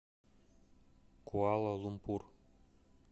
куала лумпур